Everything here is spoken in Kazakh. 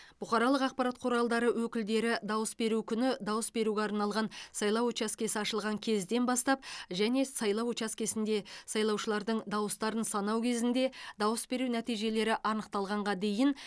бұқаралық ақпарат құралдары өкілдері дауыс беру күні дауыс беруге арналған сайлау учаскесі ашылған кезден бастап және сайлау учаскесінде сайлаушылардың дауыстарын санау кезінде дауыс беру нәтижелері анықталғанға дейін